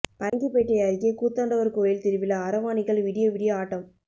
பரங்கிப்பேட்டை அருகே கூத்தாண்டவர் கோயில் திருவிழா அரவாணிகள் விடிய விடிய ஆட்டம்